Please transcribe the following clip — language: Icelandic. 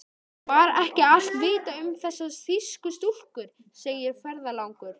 Var ekki allt vitað um þessar þýsku stúlkur, segir ferðalangur.